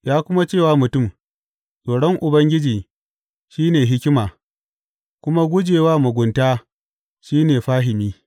Ya kuma ce wa mutum, Tsoron Ubangiji shi ne hikima, kuma guje wa mugunta shi ne fahimi.